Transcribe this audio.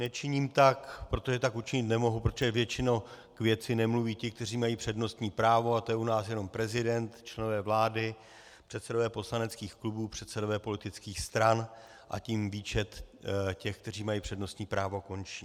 Nečiním tak, protože tak učinit nemohu, protože většinou k věci nemluví ti, kteří mají přednostní právo, a to je u nás jenom prezident, členové vlády, předsedové poslaneckých klubů, předsedové politických stran, a tím výčet těch, kteří mají přednostní právo, končí.